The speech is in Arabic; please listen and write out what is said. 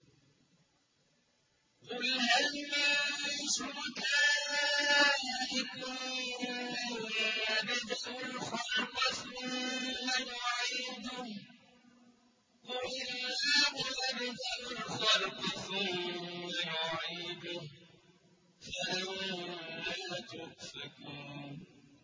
قُلْ هَلْ مِن شُرَكَائِكُم مَّن يَبْدَأُ الْخَلْقَ ثُمَّ يُعِيدُهُ ۚ قُلِ اللَّهُ يَبْدَأُ الْخَلْقَ ثُمَّ يُعِيدُهُ ۖ فَأَنَّىٰ تُؤْفَكُونَ